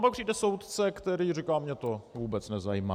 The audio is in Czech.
A pak přijde soudce, který říká: Mě to vůbec nezajímá.